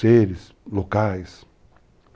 Seres, locais.